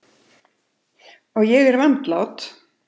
Og ég er vandlát.